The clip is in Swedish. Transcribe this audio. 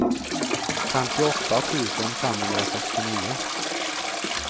femtioåtta tusen femhundrasextionio